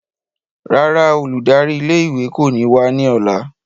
Rárá, óludari ìlé-ìwé ko ni wa ni ọla.